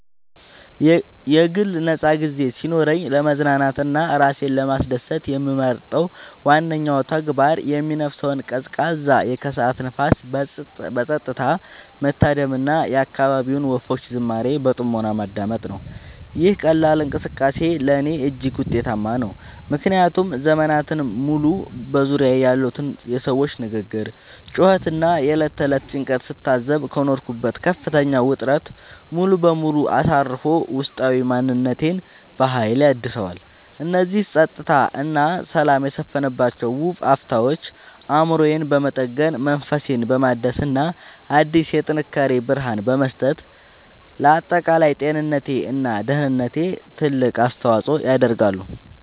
የግል ነፃ ጊዜ ሲኖረኝ ለመዝናናት እና ራሴን ለማስደሰት የምመርጠው ዋነኛው ተግባር የሚነፍሰውን ቀዝቃዛ የከሰዓት ንፋስ በፀጥታ መታደም እና የአካባቢውን ወፎች ዝማሬ በጥሞና ማዳመጥ ነው። ይህ ቀላል እንቅስቃሴ ለእኔ እጅግ ውጤታማ ነው፤ ምክንያቱም ዘመናትን ሙሉ በዙሪያዬ ያሉትን የሰዎች ግርግር፣ ጩኸት እና የዕለት ተዕለት ጭንቀት ስታዘብ ከኖርኩበት ከፍተኛ ውጥረት ሙሉ በሙሉ አሳርፎ ውስጣዊ ማንነቴን በሀይል ያድሰዋል። እነዚህ ፀጥታ እና ሰላም የሰፈነባቸው ውብ አፍታዎች አእምሮዬን በመጠገን፣ መንፈሴን በማደስ እና አዲስ የጥንካሬ ብርሃን በመስጠት ለአጠቃላይ ጤንነቴ እና ደህንነቴ ትልቅ አስተዋፅዖ ያደርጋሉ።